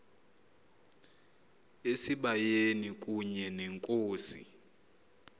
esibayeni kunye nenkosi